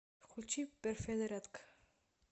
включи перфе зарядка